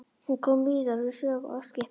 Hann kom víðar við sögu á Eskifirði.